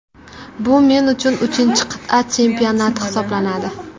Bu men uchun uchinchi qit’a chempionati hisoblanadi.